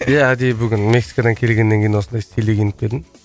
ия әдейі бүгін мексикадан келгеннен кейін осындай стилде киініп келдім